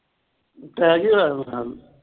attack ਹੀ ਹੋਇਆ ਹੋਣਾ।